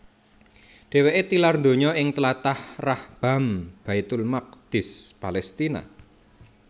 Dheweke tilar donya ing tlatah Rahbaam Baitul Maqdis Palestina